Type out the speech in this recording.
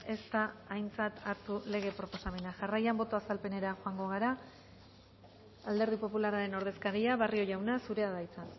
ez da aintzat hartu lege proposamena jarraian boto azalpenera joango gara alderdi popularraren ordezkaria barrio jauna zurea da hitza